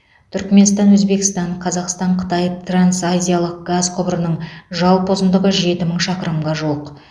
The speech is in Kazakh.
түрікменстан өзбекстан қазақстан қытай трансазиялық газ құбырының жалпы ұзындығы жеті мың шақырымға жуық